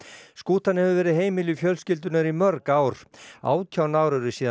skútan hefur verið heimili fjölskyldunnar í mörg ár átján ár eru síðan